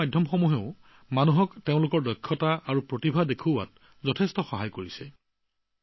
নিজৰ প্ৰতিভা আৰু দক্ষতা প্ৰদৰ্শনত ছচিয়েল মিডিয়াই ব্যাপকভাৱে সহায় কৰিছে